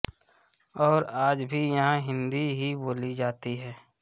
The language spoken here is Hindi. और आज भी यहाँ हिंदी ही बोली जाती है